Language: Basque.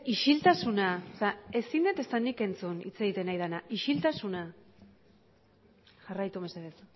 isiltasuna ezin dut ezta nik entzun hitz egiten ari dena isiltasuna jarraitu mesedez